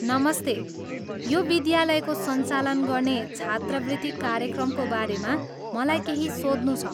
नमस्ते, यो विद्यालयले सञ्चालन गर्ने छात्रवृत्ति कार्यक्रमको बारेमा मलाई केही सोध्नु छ।